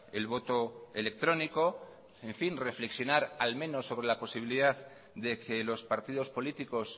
el voto electrónico en fin reflexionar al menos sobre la posibilidad de que los partidos políticos